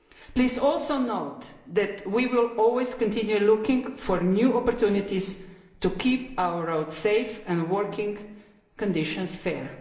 Please also note that we will always continue looking for new opportunities to keep our roads safe and working conditions fair.